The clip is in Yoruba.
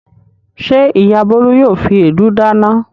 Ṣé ìyá Bólú yóò fi èédú dáná?